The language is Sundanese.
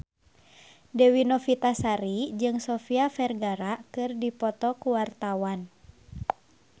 Dewi Novitasari jeung Sofia Vergara keur dipoto ku wartawan